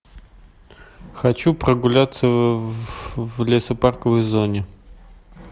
хочу прогуляться в лесопарковой зоне